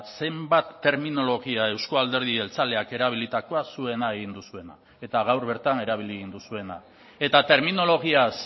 zenbat terminologia euzko alderdi jeltzaleak erabilitakoa zuena egin duzuena eta gaur bertan erabili egin duzuena eta terminologiaz